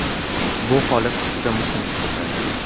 Bu holat juda muhim hisoblanadi.